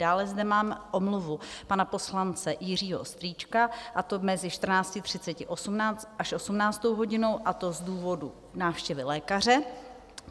Dále zde mám omluvu pana poslance Jiřího Strýčka, a to mezi 14.30 až 18. hodinou, a to z důvodu návštěvy lékaře.